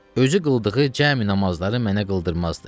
Özü qıldığı cəmi namazları mənə qıldırmazdı.